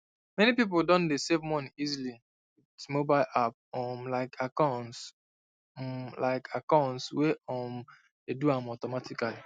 many people don dey save money easily with mobile app um like acorns um like acorns wey um dey do am automatically